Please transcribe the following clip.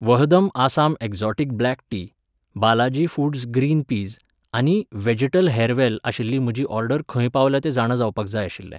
वहदम Assam exotic black tea, Balaji foods green peas आनी व्हॅजिटल हॅरवॅल आशिल्ली म्हजी ऑर्डर खंय पावल्या तें जाणा जावपाक जाय आशिल्लें.